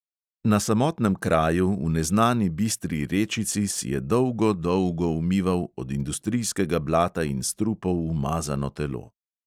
Na samotnem kraju, v neznani bistri rečici, si je dolgo, dolgo umival od industrijskega blata in strupov umazano telo.